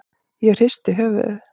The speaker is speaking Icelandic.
Ég hristi höfuðið.